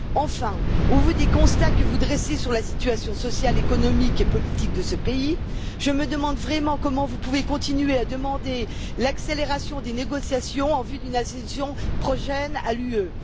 Enfin, au vu des constats que vous dressez sur la situation sociale, économique et politique de ce pays, je me demande vraiment comment vous pouvez continuer à demander l'accélération des négociations en vue d'une adhésion prochaine à l'Union.